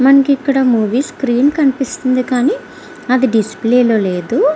మనకి ఇక్కడ movie screen లో కనిపిస్తుంది కానీ డిస్ప్లే లో అధి లేదు.